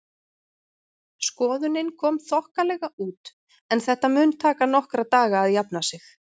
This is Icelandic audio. Skoðunin kom þokkalega út en þetta mun taka nokkra daga að jafna sig.